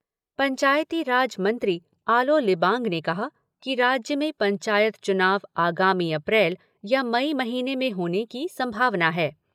पंचायती राज मंत्री आलो लिबांग ने कहा कि राज्य में पंचायत चुनाव आगामी अप्रैल या मई महीने में होने की संभावना है।